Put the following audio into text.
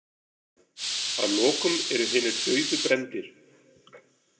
Að lokum eru hinir dauðu brenndir.